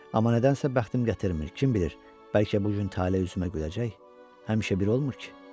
Amma nədənsə bəxtim gətirmir, kim bilir, bəlkə bu gün tale üzümə güləcək, həmişə bir olmur ki.